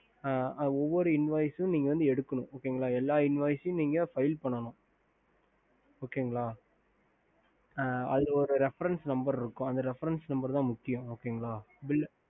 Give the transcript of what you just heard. அஹ் ஒவ்வொரு INVOICES நீங்க வந்துஎடுக்கணும்எல்லா invoices file பண்ணும் okay okey sir அதல ஒரு refereness number இருக்கும் refereness number தா முக்கியம்